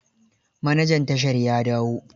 Manajan tashar ya dawo?